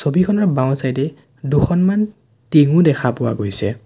ছবিখনৰ বাওঁচাইডে দুখনমান টিংঙো দেখা পোৱা গৈছে।